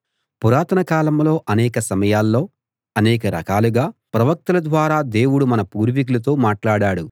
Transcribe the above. పురాతన కాలంలో అనేక సమయాల్లో అనేక రకాలుగా ప్రవక్తల ద్వారా దేవుడు మన పూర్వీకులతో మాట్లాడాడు